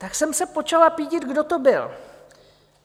Tak jsem se počala pídit, kdo to byl.